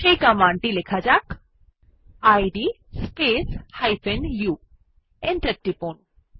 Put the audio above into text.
এই কমান্ড টি লিখুন ইদ স্পেস u এন্টার টিপুন